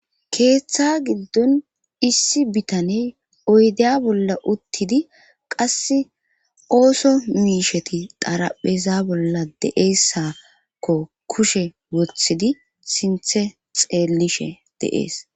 Keeththa giddon issi bitaney oydeya bolla uttidi qass ooso miisheti darapheza bolla deeessakko kushe wothidi sinthe xeellishe deees.